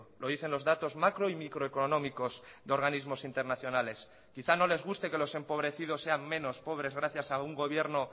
lo dicen los datos macro y microeconómicos de organismos internacionales quizás no les guste que los empobrecidos sean menos pobres gracias a un gobierno